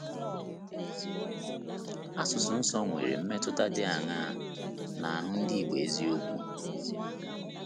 Asụsụ Nsọ nwere mmetụta dị aṅaa n’ahụ ndị Igbo eziokwu?